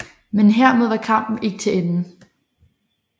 Men hermed var kampen ikke til ende